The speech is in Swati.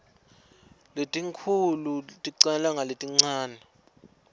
letinkhulu ticala ngaletincane